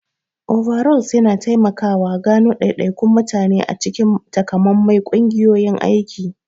Overalls yana taimakawa gano daidaikun mutane a cikin takamaiman ƙungiyoyin aiki.